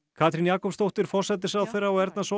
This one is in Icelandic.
Katrín Jakobsdóttir forsætisráðherra og Erna